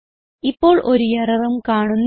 ഇപ്പോൾ ഒരു എററും കാണുന്നില്ല